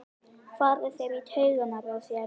fara þeir í taugarnar á þér?